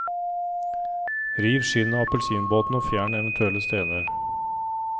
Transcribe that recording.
Riv skinnet av appelsinbåtene og fjern eventuelle stener.